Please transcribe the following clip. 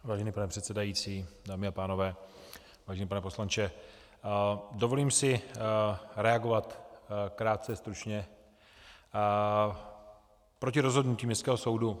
Vážený pane předsedající, dámy a pánové, vážený pane poslanče, dovolím si reagovat krátce, stručně, proti rozhodnutí Městského soudu.